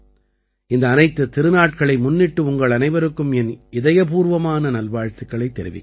இந்த அனைத்துத் திருநாட்களை முன்னிட்டு உங்கள் அனைவருக்கும் என் இதயபூர்வமான நல்வாழ்த்துக்களைத் தெரிவிக்கிறேன்